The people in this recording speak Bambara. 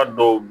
A dɔw